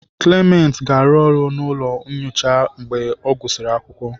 Clement ga-arụ ọrụ n'ụlọ nyocha mgbe ọ gụsịrị akwụkwọ.